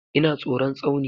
Ina tsoron Tsauni.